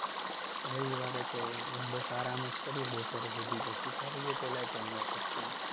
રવિવારે તો બસ આરામ જ કરીએ બપોર સુધી સુતા રહીએ પહેલા તો અને પછી